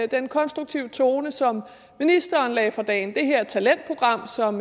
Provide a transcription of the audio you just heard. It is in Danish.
den konstruktive tone som ministeren lagde for dagen og det her talentprogram som